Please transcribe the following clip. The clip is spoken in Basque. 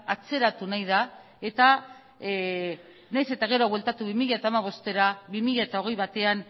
atzeratu nahi da eta nahiz eta gero bueltatu bi mila hamabostera bi mila hogei batean